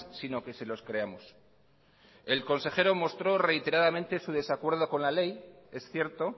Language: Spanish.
sino que se los creamos el consejero mostró reiteradamente su desacuerdo con la ley es cierto